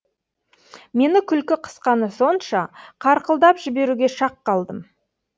мені күлкі қысқаны сонша қарқылдап жіберуге шақ қалдым